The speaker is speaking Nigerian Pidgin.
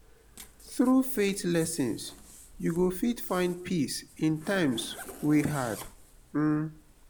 thru faith lessons yu go fit find peace in times wey hard. um